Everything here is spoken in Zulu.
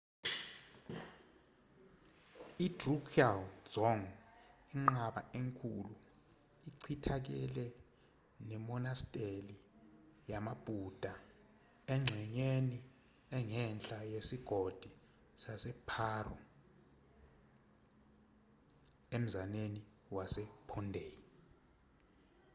i-drukgyal dzong inqaba enkulu echithakele nemonasteli yamabhuda engxenyeni engenhla yesigodi saseparo emzaneni wasephondey